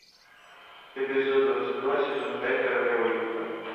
эпизод двадцать два сезон пять королева юга